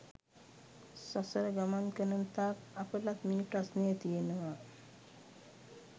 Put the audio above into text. සසර ගමන් කරන තාක් අපටත් මේ ප්‍රශ්නය තියෙනවා.